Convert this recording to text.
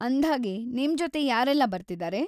ಅಂದ್ಹಾಗೆ, ನಿಮ್ಜೊತೆ ಯಾರೆಲ್ಲ ಬರ್ತಿದಾರೆ?